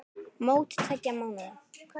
Mót tveggja mánaða.